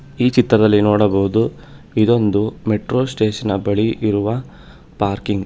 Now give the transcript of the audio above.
ಈ ಚಿತ್ರದಲ್ಲಿ ನೋಡಬಹುದು ಇದೊಂದು ಮೆಟ್ರೋ ಸ್ಟೇಷನ್ನ ಬಳಿ ಇರುವ ಪಾರ್ಕಿಂಗ್ .